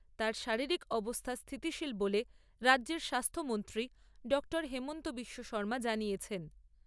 তাঁর শারীরিক অবস্থা স্থিতিশীল বলে রাজ্যের স্বাস্থ্য মন্ত্রী ডঃ হিমন্ত বিশ্ব শৰ্মা জানিয়েছেন।